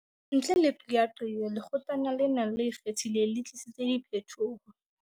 Ntle le qeaqeo, Lekgotlana lena le Ikgethileng le tlisitse diphetoho.